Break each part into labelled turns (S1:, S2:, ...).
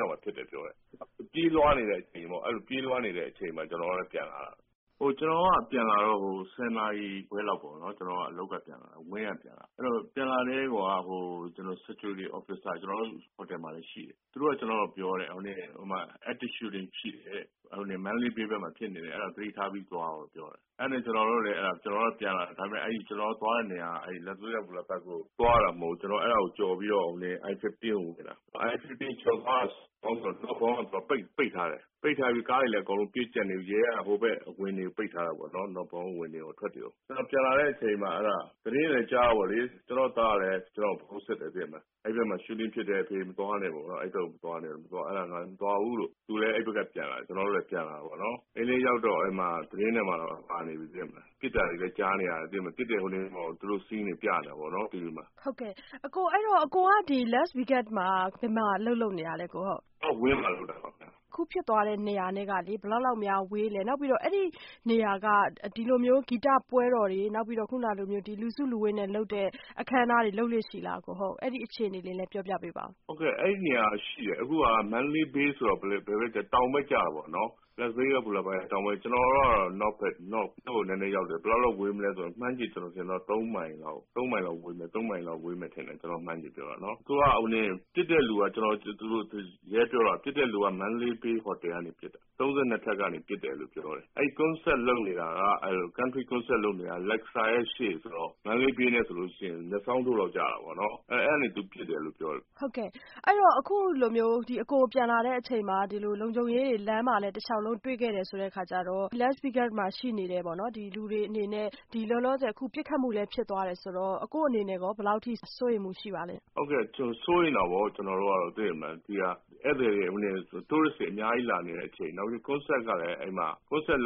S1: လောက်မှာဖြစ်တယ်လို့ပြောတယ်။ ပြေးလွားနေတဲ့ အချိန်ပေါ့။ အဲဒီလို ပြေးလွားနေတဲ့ အချိန်မှာ ကျနော်ကလည်းပြန်လာတာ။ ကျနော်က ပြန်လာတော့ ၁၀ နာရီခွဲလောက်ပေါ့နော် ကျနော်အလုပ်ကပြန်လာတာ။ အဲဒီတော့ ပြန်လာတော့ ကျနော်တို့ security officer ကျနော်တို့ ဟိုတယ်မှာလည်း ရှိတယ်။ သူကကျနော့်ကိုပြောတယ် ဟိုမှာ active shooting ရှိတယ်တဲ့Mandalay Bay ဘက်မှာဖြစ်နေတယ် သတိထားပြီးသွားလို့ပြောတယ်၊ အဲဒါနဲ့ ကျနော်တို့လည်းပြန်လာတယ် ။ ကျနော်တို့ သွားတဲ့နေရာက Las Vegas ဘူတာဘက်ကိုသွားတာမဟုတ်ဘူး ၊ အဲဒါကိုကျော်ပြီးတော့ ဟိုင်းဝေး I-50 ကိုဝင်တာ I -50 northbound က ပိတ်ထားတယ်။ ပိတ်ထားပြီး ကားတွေအကုန်လုံးလည်းပြည့်ကျပ်နေပြီ ရဲက northbound အဝင်တွေ အထွက်တွေကို ပိတ်ထားတာပေါ့နော် ပြန်လာတဲ့အချိန် သတင်းတွေလည်းကြားတာပေါ့လေ၊ ကျနော့်သားကလည်း ကျနော့်ကို ဖုန်းဆက်တယ်၊ အဲဒီဘက်မှာ shooting ဖြစ်တယ် အဖေမသွားနဲ့ပေါ့နေ်ာ ၊ အဲဒါ ကျနော်လည်း မသွားဘူးပေါ့နော်။ သူလည်း အဲဒီဘက်က ပြန်လာတယ်၊ ကျနော်လည်း ပြန်လာတယ်။ အိမ်ရောက်တော့ သတင်းတွေမှာလည်းပါနေပြီ ပစ်တာတွေလည်း ကြားနေရတယ်။ ပစ်တဲ့ scene တွေလည်း ပြနေတယ်ပေါ့နော်။ မဆုမွန်
S2: ။ ။ ဟုတ်ကဲ့ အကိုက Las Vegas ဘယ်မှာအလုပ်လုပ်နေတာလဲ ကိုနေလင်း။ ။ Wynnဟိုတယ်မှာပါခင်ဗျ။ မဆုမွန်။ ။အခုဖြစ်သွားတဲ့နေရာနဲ့က ဘယ်လောက်လောက်များဝေးသလဲ။ အဲဒီနေရာက ဒီလို ဂီတပွဲတော်တွေ ၊ နောက်ပြီး လူစုလူဝေးနဲ့ လုပ်တဲ့အခမ်းအနားတွေ လုပ်လေ့ရှိသလားအကို ၊ အဲဒီအခြေအနေတွေလည်းပြောပြပါ။
S1: ကိုနေလင်း။ ။ဟုတ်ကဲ့ အခုက Mandalay Bay ဆိုတာ တောင်ဘက်ကျတာပေါ့နော် Las Vegas တောင်ဘက် ကျနေ်ာတို့က တော့ မြောက်ဘက်နည်းနည်းရောက်တယ်။ ဘယ်လောက်လောက်ဝေးသလဲဆိုရင်တော့ မှန်းကြည့်ရင် ၃ မိုင်လောက်ဝေးမယ် ထင်တယ် ကျနော်ခန့်မှန်းချေပြောတာနော်။ ပစ်တဲ့လူကတော့ Mandalay Bay ဟိုတယ်ကနေပစ်တာ ၊ ၃၂ ထပ်ကနေလို့ပြောတယ်။ concert လုပ်နေတာက အဲဒီအရှေ့ဆိုတော့ ပြောရင် မျက်စောင်းထိုးလောက်ကျတာပေါ့နော် အဲဒီလို ပစ်တယ်လို့ ပြောတယ်။ မ
S2: ဆုမွန်။ ။အဲဒီတော့ အခုလို အကိုပြန်လာတဲ့အချိန်မှာ လုံခြုံရေးတွေလည်း လမ်းမှာ တလျောက်လုံးတွေ့ခဲ့တယ်ဆိုတဲ့အခါကျတော့ Las Vegas မှာရှိနေတဲ့ လူတွေအနေနဲ့ ဒီလောလောဆယ် ပစ်ခတ်မှုလည်းဖြစ်သွားတယ်၊ဆိုတော့ အကိုယ့်အနေနဲ့ ဘယ်လောက်အထိ စိုးရိမ်မှုရှိပါသလဲ
S1: ။ ကိုနေလင်း။ ။ဟုတ်ကဲ့စိုးရိမ်တာပေါ့ ကျနော်တို့ကတော့ ဒီဟာ Tourist တွေအများကြီးလာနေတဲ့အချိန် နောက်ပြီး concert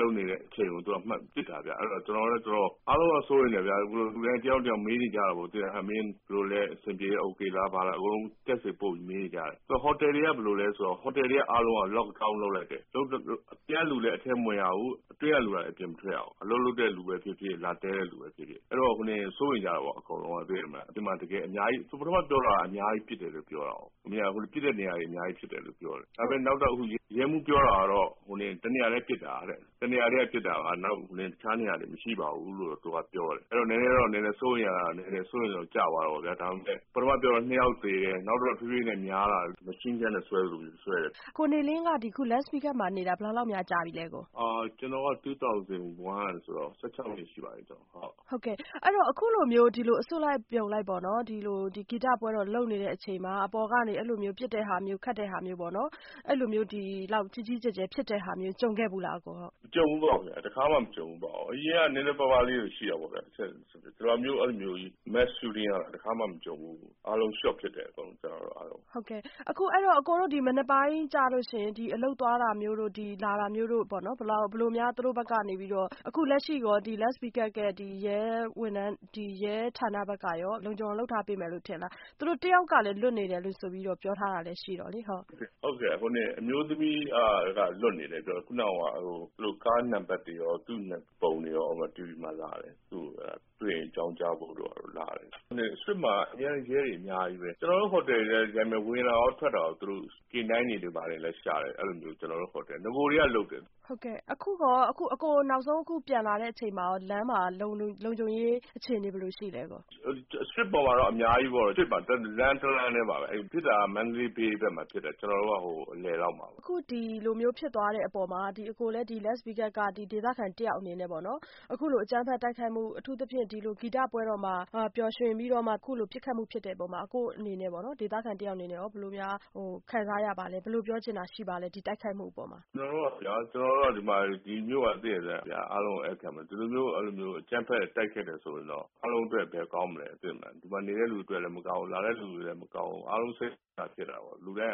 S1: လုပ်နေတဲ့အချိန်ကို ပစ်တာခင်ဗျ ။ အားလုံးက စိုးရိမ်တယ် လူတိုင်းလည်း တယောက်နဲ့ တယောက်မေးနေကြတာခင်ဗျ “မင်းဘယ်လိုလဲ ၊ အဆင်ပြေလား”ဆိုပြီးတော့ Text တွေပို့ပြီးတော့ မေးနေကြတာခင်ဗျ ဟိုတယ်တွေက ဘယ်လိုလဲဆိုတော့ အားလုံး lock down လုပ်လိုက်တယ် အပြင်ကလူလည်း အထဲမဝင်ရဘူး၊ အတွင်းကလူလည်း အပြင်မထွက်ရဘူး။ စိုးရိမ်ကြတာပေါ့ အကုန်လုံးက ။ ပထမပြောတာက ပစ်တဲ့နေရာတွေ အများကြီးဖြစ်တယ်လို့ပြောတာကို။ ဒါပေမယ့် နောက်တော့ ရဲမှူးပြောတာကတော့ ၁ နေရာတည်က ပစ်တာပါ ၊ တခြားနေရာတွေ မရှိပါဘူး။ ဆိုတော့ နည်းနည်း စိုးရိမ်တာ ကျသွားတာပေါ့နော် ဒါပေမယ့် ပထမပြောတော့ ၂ ယောက်သေတယ်၊ နောက်တော့ တဖြေးဖြေးများလာတယ်။ machine gun နဲ့ ပစ်သလိုပစ်တယ်။ မဆုမွန်။
S2: ။ ကိုနေလင်း Las Vegas မှာနေတာ ဘယ်လောက်လောက်များကြာပြီလဲ ။ ကိ
S1: ုနေလင်း။ ။ကျနော်က ၂၀၀၁ ကဆိုတော့ ၁၆ နှစ်ရှိပါပြီ။ မဆုမွန်
S2: ။ ။အခုလိုမျိုး အစုလိုက်အပြုံလိုက် ဒီဂီတပွဲတော် လုပ်နေတဲ့အချိန်မှာ အပေါ်ကနေ ပစ်တဲ့ဟာမျိုး ဒီလောက်ကြီးကြီးကျယ်ကျယ် ဖြစ်တာ ကြုံခဲ့ဖူးလားအကို။ ကိုနေလင်း။ ။
S1: မကြုံဖူးပါဘူး၊ တခါမှ မကြုံဖူးပါဘူး။ အရင်ကတော့ နည်းနည်းပါးပါးလေးတွေရှိတာပေါ့ခင်ဗျ ဒီလို Mass shooting ကတော့ တခါမှ မကြုံဖူးပါဘူး။ အားလုံး shock ဖြစ်တယ် ကျနေ်ာတို့အားလုံး
S2: ။ မဆုမွန်။ ။အကိုတို့ မနက်ပိုင်းကျရင် အလုပ်သွားတာတို့ လာတာတို့ ဘယ်လိုများ အခုလက်ရှိ Las Vegas ရဲ့ ရဲဌာနဘက်ကရော လုံခြုံအောင်လုပ်ထားပေးမယ်လို့ထင်ပါသလား သူတို့ တယောက်ကလည်း လွတ်နေတယ်လို့ ပြောထားတာလည်းရှိတော့လေ။ ကိုနေ
S1: လင်း။ ။ဟုတ်ကဲ့ အမျိုးသမီးကတော့ လွှတ်နေတယ် ခုနက ကားနံပတ်တွေရော၊ ဓါတ်ပုံတွေရော TV မှာလာတယ်၊ သူ့ကိုအကြောင်းကြားဖို့ တွေ့ရင် ။ အရှေ့မှာတော့ ရဲတွေအများကြီးပဲ ကျနော်တို့ ဟိုတယ်၊ ဝင်တာရောထွက်တာရော ကိုရှာတယ်။ နဂိုကတည်း ကလည်း လုပ်တယ်။ မဆုမွန်။ ။
S2: အခုအကိုနောက်ဆုံးပြန်လာတဲ့အချိန်မှာရော လမ်းမှာ လုံခြုံရေးအခြေအနေ ဘယ်လိုရှိသလဲအကို။ ကိ
S1: ုနေလင်း။ ။street ပေါ်မှာတော့ အများကြီးပဲပေါ့နော် ဖြစ်တာကတော့ Mandalay Bay လမ်းဘက်မှာဖြစ်တယ်။ ကျနော်တို့တော့ အလယ်လောက်မှာပေါ့န
S2: ော်။ မဆုမွန်။ ။အခု ဒီလိုဖြစ်သွားတဲ့အပေါ်မှာ အကိုလည်း Las Vegas ရဲ့ ဒေသခံတယောက်အနေနဲ့ပေါ့နော် အခုလို အကြမ်းဖက်တိုက်ခိုက်မှု အထူးသဖြင့်ဒီလို ဂီတပွဲတော်မှာ ပစ်ခတ်မှု ဖြစ်တဲ့အပေါ် ဒေသခံတယောက်အနေနဲ့ ဘယ်လိုခံစားရပါသလဲ၊ ဘယ်လိုပြောချင်တာ ရှိပါသလဲ ဒီတိုက်ခိုက်မှုအပေါ်မှာ
S1: ။ ကိုနေလင်း။ ။ကျနော်တို့ ဒီဲမြို့က အားလုံးသိတဲ့အတိုင်း ဧည့်ခံဖို့ ။ ဒီလိုမျိုးအကြမ်းဖက်တိုက်ခိုက် ခဲ့တယ်ဆိုရင်တော့ အားလုံးအတွက် ဘယ်ကောင်းမလဲ သိတဲ့အတိုင်း ဒီမှာနေတဲ့လူတွေအတွက်လည်းမကောင်းဘူး ၊ လာတဲ့လူတွေ အတွက်လည်းမကောင်းဘူး။ အားလုံးစိတ်မကောင်းဖြစ်တာပေါ့၊ လူတိုင်း